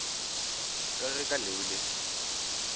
ka ge ka leo le